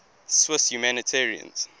swiss humanitarians